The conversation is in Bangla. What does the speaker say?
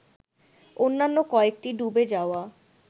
অন্যান্য কয়েকটি ডুবে যাওয়া